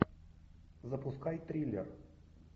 запускай триллер